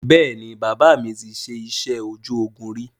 Bẹ́ẹ̀ni, bàbà mi ti ṣe iṣẹ́ ojú ogún ríi